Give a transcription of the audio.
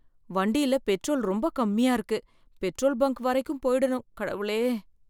வண்டியில பெட்ரோல் ரொம்ப கம்மியா இருக்கு.பெட்ரோல் பங்க் வரைக்கும் போயிடனும் கடவுளே.